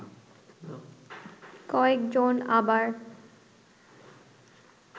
কয়েক জন আবার